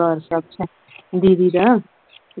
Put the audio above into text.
ਦਰਬਾਰ ਸਾਹਿਬ ਚ ਦੀਦੀ ਦਾ